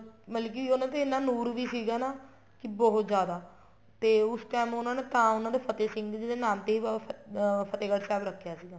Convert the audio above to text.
ਮਤਲਬ ਕੀ ਉਹਨਾ ਦੇ ਐਨਾ ਨੂਰ ਵੀ ਸੀਗਾ ਨਾ ਕੀ ਬਹੁਤ ਜਿਆਦਾ ਤੇ ਉਸ time ਉਹਨਾ ਨੇ ਤਾਂ ਫ਼ਤਿਹ ਸਿੰਘ ਜੀ ਦੇ ਨਾਮ ਤੇ ਬਾਬਾ ਫਤਿਹਗੜ੍ਹ ਸਾਹਿਬ ਰੱਖਿਆ ਸੀਗਾ